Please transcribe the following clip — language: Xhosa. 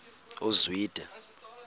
uzwide